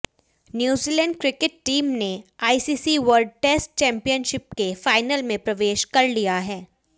New Zealand cricket team ने ICC world test championship के final में प्रवेश कर लिया है